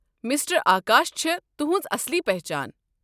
Mister Akash چھےٚ تُہٕنٛز اصلی پچھان۔